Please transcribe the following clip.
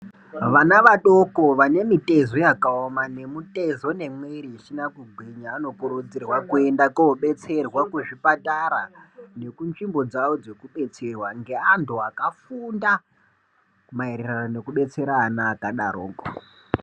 Vana vadoko vane mitezo yakaoma nemutezo nemwiri isina kugwinya vanokurudzirwa kuenda kodetserwa kuzvipatara nekunzvimbo dzao dzekudetserwa nevanthu vakafunda maererano nekudetsera ana akadaroko.